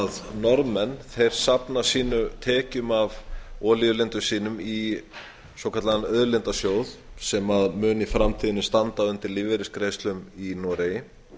norðmenn safna sínum tekjum af olíulindum sínum í svokallaðan auðlindasjóð sem mun í framtíðinni standa undir lífeyrisgreiðslum í noregi